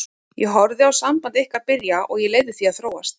Ég horfði á samband ykkar byrja og ég leyfði því að þróast.